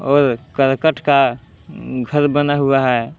और करकट का अह घर बना हुआ है।